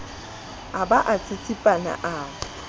a ba a tsitsipana a